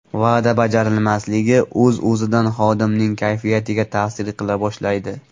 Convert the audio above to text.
Va’da bajarilmasligi o‘z-o‘zidan xodimning kayfiyatiga ta’sir qila boshlaydi.